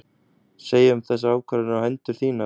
Segja um þessar ákvarðanir á hendur þínar?